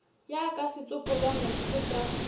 ya ka setsopolwana se ka